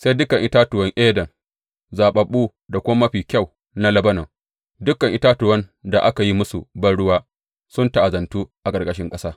Sai dukan itatuwan Eden, zaɓaɓɓu da kuma mafi kyau na Lebanon, dukan itatuwan da aka yi musu banruwa, sun ta’azantu a ƙarƙashin ƙasa.